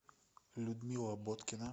людмила боткина